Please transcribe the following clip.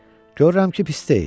Görürəm ki, pis deyil.